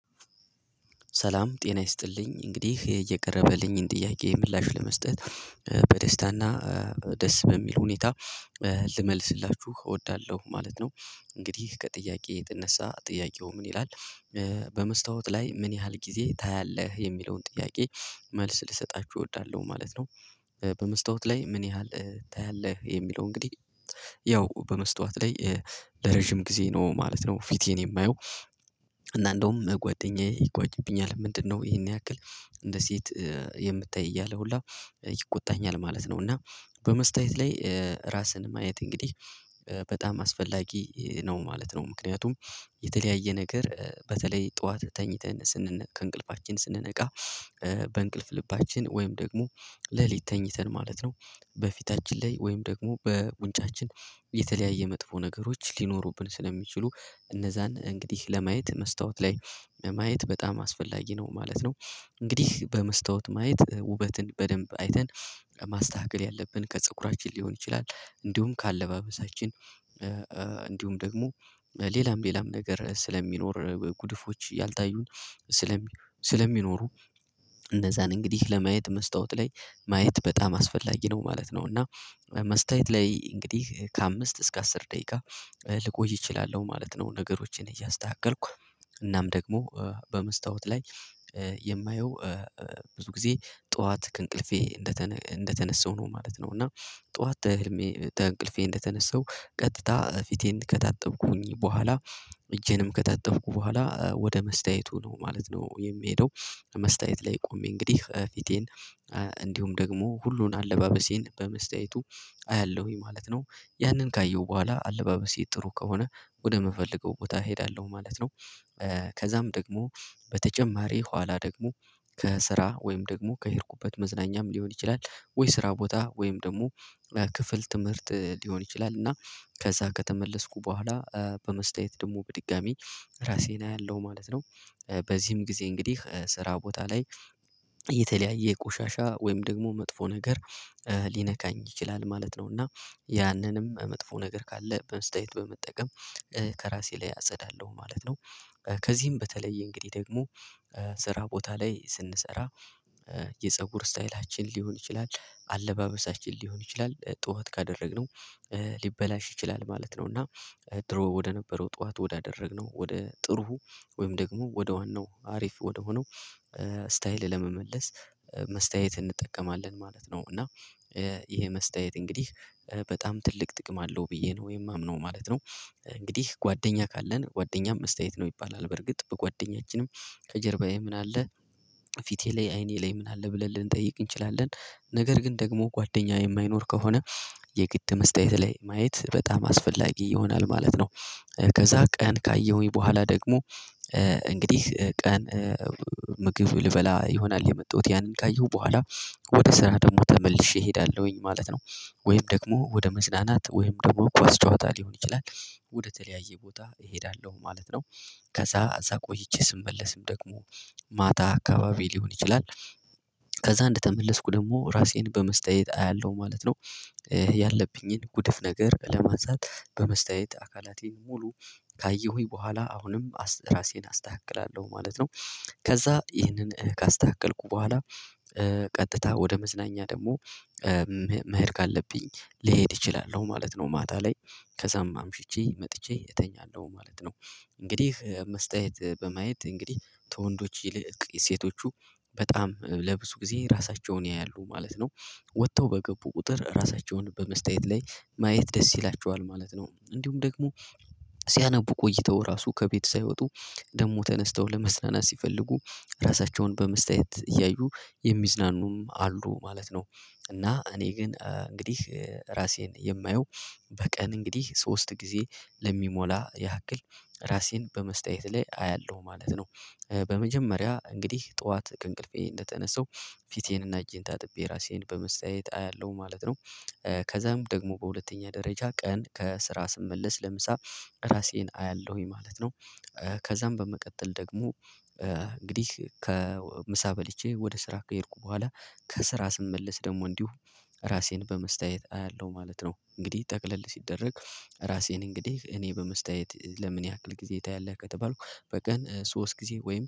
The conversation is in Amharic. ሰላም ጤና ይስጥልኝ እንግዲህ እየቀረበልኝን ጥያቄ ምላሽ ለመስጠት በደስታና ደስ በሚል ሁኔታ ልመልስላችሁ እወዳለሁ ማለት ነው። እንግዲህ ከጥያቄ የተነሳ ጥያቄው ምን ይላል? በመስታወት ላይ ምን ያህል ጊዜ ታያለህ የሚለውን ጥያቄ መልስ ልሰጣችሁ እወዳለሁ ማለት ነው። በመስታወት ላይ ምን ያህል ታያለህ የሚለው እንግዲህ ያው በመስታወት ላይ ለረጅም ጊዜ ነው ማለት ነው። ፊቴን የማየው እና እንደውም ጓደኛዬ ይጓዝብኛል ምንድነው ይሄን ያክል እንደ ሴት የምታይ እያለ ሁላ ይቆጣኛል ማለት ነው። እና በመስተያየት ላይ ራስን ማየት እንግዲህ በጣም አስፈላጊ ነው ማለት ነው። ምክንያቱም የተለያየ ነገር በተለይ ጠዋት ተኝተን ስንነቃ ከእንቅልፋችን ስንነቃ በእንቅልፍ ልባችን ወይም ደግሞ ሌሊት ተኝተን ማለት ነው በፊታችን ላይ ወይም ደግሞ በጉንጫችን የተለያየ መጥፎ ነገሮች ሊኖሩብን ስለሚችሉ እነዛን እንግዲህ ለማየት መስታወት ላይ ለማየት በጣም አስፈላጊ ነው ማለት ነው። እንግዲህ በመስታወት ማየት ውበትን በደንብ አይተን ማስተካከል ያለብን ከፀጉራችን ሊሆን ይችላል። እንዲሁም ከአለባበሳችን እንዲሁም ደግሞ ሌላም ሌላም ነገር ስለሚኖር ጉድፎች ያልታዩን ስለሚኖሩ እነዛን እንግዲህ ለማየት መስታወት ላይ ማየት በጣም አስፈላጊ ነው ማለት ነው። እና መስታየት ላይ እንግዲህ ከአምስት እስከ አስር ደቂቃ ልቆይ እችላለሁ ማለት ነው። ነገሮችን እያስተካከልኩ እናም ደግሞ በመስታወት ላይ የማየው ብዙ ጊዜ ጠዋት ከእንቅልፌ እንደተነሳው ነው ማለት ነው። እና ጠዋት ተህልሜ ተንቅልፌ እንደተነሳው ቀጥታ ፊቴን ከታጠብኩኝ በኋላ እጄንም ከታተብኩ በኋላ ወደ መስተያየቱ ነው ማለት ነው የሚሄደው። መስተያየት ላይ ቆሜ እንግዲህ ፊቴን እንዲሁም ደግሞ ሁሉን አለባበሴን በመስታየቱ አያለሁኝ ማለት ነው። ያንን ካየሁ በኋላ አለባበሴ ጥሩ ከሆነ ወደምፈልገው ቦታ እሄዳለሁ ማለት ነው። ከዛም ደግሞ በተጨማሪ ኋላ ደግሞ ከስራ ወይም ደግሞ ከሄድኩበት መዝናኛም ሊሆን ይችላል። ወይ ስራ ቦታ ወይም ደግሞ ክፍል ትምህርት ሊሆን ይችላል። እና ከዛ ከተመለስኩ በኋላ በመስተያየት ደግሞ በድጋሚ ራሴን አያለሁ ማለት ነው። በዚህም ጊዜ እንግዲህ ስራ ቦታ ላይ የተለያየ ቆሻሻ ወይም ደግሞ መጥፎ ነገር ሊነካኝ ይችላል ማለት ነው። እና ያንንም መጥፎ ነገር ካለ በመስተያየት በመጠቀም ከራሴ ላይ አጸዳለሁ ማለት ነው። ከዚህም በተለይ እንግዲህ ደግሞ ስራ ቦታ ላይ ስንሰራ የፀጉር ስታይላችን ሊሆን ይችላል አለባበሳችን ሊሆን ይችላል ጠዋት ካደረግነው ሊበላሽ ይችላል ማለት ነው። እና ድሮ ወደነበረው ጠዋት ወዳደረግነው ወደ ጥሩ ወይም ደግሞ ወደ ዋናው አሪፍ ወደሆነው ስታይል ለመመለስ መስተያየት እንጠቀማለን ማለት ነው። እና ይሄ መስተያየት እንግዲህ በጣም ትልቅ ጥቅም አለው ብዬ ነው የማምነው ማለት ነው። እንግዲህ ጓደኛ ካለን ጓደኛም መስተያየት ነው ይባላል በርግጥ በጓደኛችንም ከጀርባዬ ምን አለ? ፊቴ ላይ አይኔ ላይ ምን አለ ብለን ልንጠይቅ እንችላለን። ነገር ግን ደግሞ ጓደኛ የማይኖር ከሆነ የግድ መስተያየት ላይ ማየት በጣም አስፈላጊ ይሆናል ማለት ነው። ከዛ ቀን ካየሁኝ በኋላ ደግሞ እንግዲህ ቀን ምግብ ልበላ ይሆናል የመጣሁት ያንን ካየሁ በኋላ ወደ ስራ ደግሞ ተመልሼ እሄዳለሁኝ ማለት ነው። ወይም ደግሞ ወደ መዝናናት ወይም ደግሞ ኳስ ጨዋታ ሊሆን ይችላል። ወደተለያየ ቦታ እሄዳለሁ ማለት ነው። ከዛ እዛ ቆይቼ ስመለስም ደግሞ ማታ አካባቢ ሊሆን ይችላል። ከዛ እንደተመለስኩ ደግሞ ራሴን በመስተያየት አያለሁ ማለት ነው። ያለብኝን ጉድፍ ነገር ለማንሳት በመስተያየት አካላቴን ሙሉ ካየሁኝ በኋላ አሁንም ራሴን አስተካክላለሁ ማለት ነው። ከዛ ይህንን ካስተካከልኩ በኋላ ቀጥታ ወደ መዝናኛ ደግሞ መሄድ ካለብኝ ሊሄድ ይችላል ነው ማለት ነው። ማታ ላይ ከዛም አምሽቼ መጥቼ እተኛለሁ ማለት ነው። እንግዲህ መስተያየት በማየት እንግዲህ ተወንዶች ይልቅ ሴቶቹ በጣም ለብዙ ጊዜ ራሳቸውን ያያሉ ማለት ነው። ወጥተው በገቡ ቁጥር ራሳቸውን በመስተያየት ላይ ማየት ደስ ይላቸዋል ማለት ነው። እንዲሁም ደግሞ ሲያነቡ ቆይተው ራሱ ከቤት ሳይወጡ ደግሞ ተነስተው ለመዝናናት ሲፈልጉ ራሳቸውን በመስተያየት እያዩ የሚዝናኑም አሉ ማለት ነው። እና እኔ ግን እንግዲህ ራሴን የማየው በቀን እንግዲህ ሶስት ጊዜ ለሚሞላ ያክል ራሴን በመስተያየት ላይ አያለሁ ማለት ነው። በመጀመሪያ እንግዲህ ጠዋት ከእንቅልፌ እንደተነሳው ፊቴንና እጄን ታጥቤ ራሴን በመስተያየት አያለሁ ማለት ነው። ከዛም ደግሞ በሁለተኛ ደረጃ ቀን ከስራ ስመለስ ለምሳ ራሴን አያለሁኝ ማለት ነው። ከዛም በመቀጠል ደግሞ እንግዲህ ከምሳ በልቼ ወደ ስራ ከሄድኩ በኋላ ከስራ ስመለስ ደግሞ እንዲሁ ራሴን በመስተያየት አያለሁ ማለት ነው። እንግዲህ ጠቅለል ሲደረግ ራሴን እንግዲህ እኔ በመስተያየት ለምን ያክል ጊዜ ታያለህ ከተባልኩ በቀን ሶስት ጊዜ ወይም